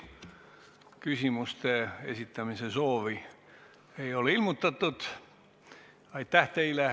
Küsimuste esitamise soovi ei ole ilmutatud.